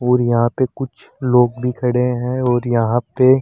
और यहां पे कुछ लोग भी खड़े हैं और यहां पे--